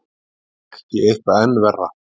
Ef ekki eitthvað enn verra.